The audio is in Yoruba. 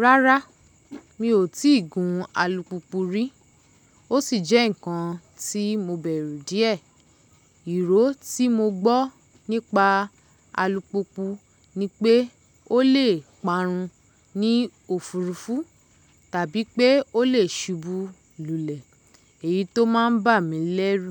Rárá, mi ò tíì gún alùpùpù rí, ó sì jẹ́ ǹkan tí mo bẹ̀rù díẹ̀. Ìró tí mo gbọ́ nípa alùpùpù ni pé ó lè parun ní òfurufú tàbí pé ó lè subu lulẹ̀, èyí tó máa ń bà mí lẹ́rù.